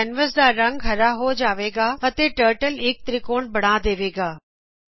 ਹੁਣ ਕੈਨਵਸ ਦਾ ਰੰਗ ਹਰਾ ਹੋ ਜਾਵੇਗਾ ਅਤੇ ਟਰਟਲ ਇਕ ਤ੍ਰਿਕੋਣ ਬਣਾ ਦੇਵੇਗਾ